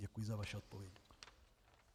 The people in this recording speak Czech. Děkuji za vaši odpověď.